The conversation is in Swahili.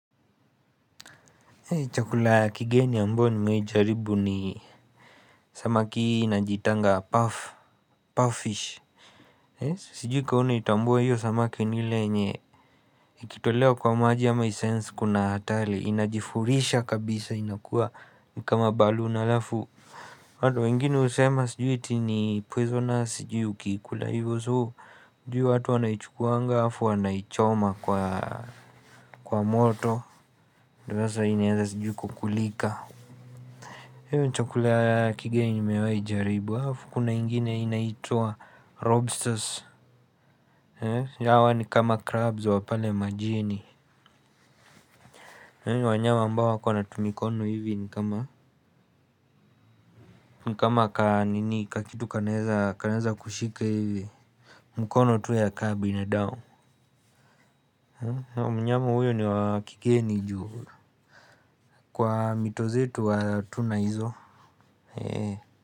Chakula kigeni ambacho nimejaribu ni samaki inajiitanga 'puff, puffish'. Sijui kama unaitambua hiyo samaki ni ile yenye ikitolewa kwa maji ama I 'sense' kuna hatari. Inajifurisha kabisa inakuwa ni kama 'baloon' halafu watu wengine husema sijui iti ni 'poisonus' na sijui ukiikula hivo So, ju ya hio watu wanaichukuanga halafu wanaichoma kwa moto. Ndio sasa inaweza sijui kukulika. Hiyo ndio chakula ya kigeni mewahi jaribu halafu kuna ingine inaitwa 'lobsters'. Hawa ni kama 'crabs' wa pale majini. Wanyama ambao wako na tumikono hivi ni kama ni kama ka ninii, kakitu kanaeza kushika hivi. Mkono tu ya kama binadamu. Mnyama huyu ni wa kigeni ju kwa mito zetu hatuna hizo. Eeh.